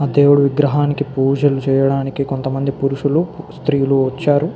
ఆ విగ్రహానికి పూజలు చెయ్యటానికి కొంత మని పురుషులు శ్రీ లు వచ్చారు.